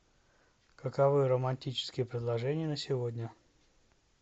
каковы романтические предложения на сегодня